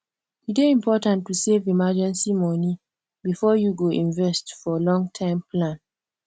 e dey important to save emergency money before you go invest for longterm plan